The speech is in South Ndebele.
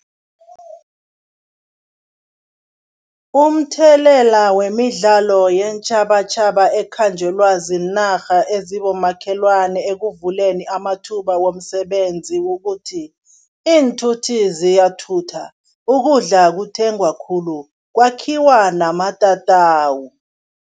Umthelela wemidlalo yeentjhabatjhaba ekhanjelwa ziinarha ezibomakhelwana ekuvuleni amathuba womsebenzi kukuthi, iinthuthi ziyathuthuka, ukudla kuthengwa khulu, kwakhiwa namatatawu.